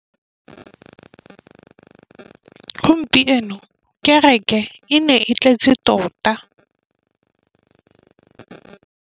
Gompieno kêrêkê e ne e tletse tota.